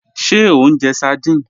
Ṣé o njẹ́ sárdínè?